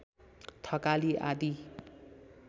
थकाली आदि